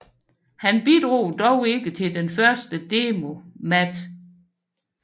Han bidrog dog ikke til den første demo Mate